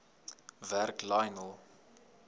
werk lionel